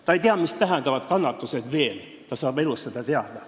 Ta ei tea, mida tähendavad kannatused – vahest ta saab seda elu jooksul teada.